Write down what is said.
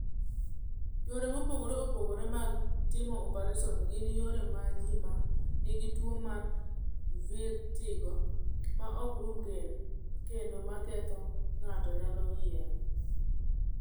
"Yore mopogore opogore mag timo opereson gin yore ma ji ma nigi tuwo mar vertigo ma ok rum kendo ma ketho ng’ato nyalo yiero."